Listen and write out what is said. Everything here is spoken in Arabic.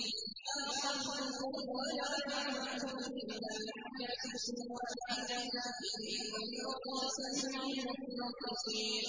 مَّا خَلْقُكُمْ وَلَا بَعْثُكُمْ إِلَّا كَنَفْسٍ وَاحِدَةٍ ۗ إِنَّ اللَّهَ سَمِيعٌ بَصِيرٌ